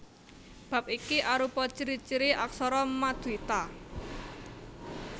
Bab iki arupa ciri ciri aksara maduita